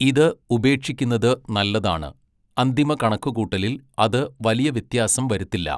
ഇത് ഉപേക്ഷിക്കുന്നത് നല്ലതാണ്, അന്തിമ കണക്കുകൂട്ടലിൽ അത് വലിയ വ്യത്യാസം വരുത്തില്ല.